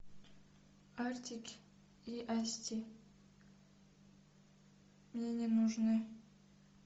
артик и асти мне не нужны